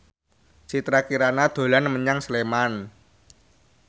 Citra Kirana dolan menyang Sleman